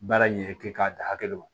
Baara in ɲɛ kɛ k'a da hakɛ ma